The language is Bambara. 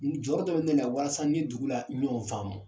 Jɔyɔrɔ dɔ bɛ ne la walasa n ni dugu la ɲɔgɔn faamu